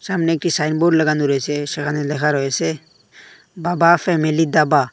সামনে একটি সাইনবোর্ড লাগানো রয়েছে সেখানে লেখা রয়েছে বাবা ফ্যামিলি দাবা ।